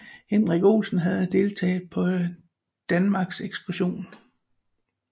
Hendrik Olsen havde deltaget på Danmarks Ekspeditionen